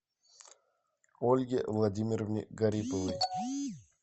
ольге владимировне гариповой